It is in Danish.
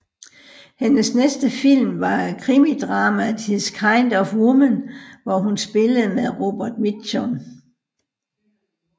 Hendes næste film var krimidramaet His kind of Woman hvor hun spillede med Robert Mitchum